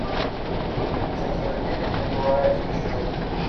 закинуть денег на тураевский счет